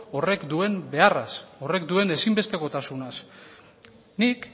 horrek duen beharraz horrek duen ezinbestekotasunaz nik